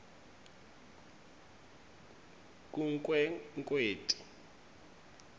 kunkwekweti